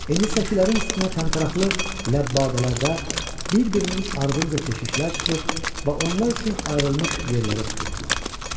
İndi səkilərin üstünə təntəraqlı ləbbadələrdə bir-birinin ardınca keşişlər çıxır və onlar üçün ayrılmış yerləri tuturdular.